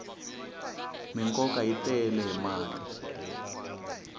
minkova yi tele hi mati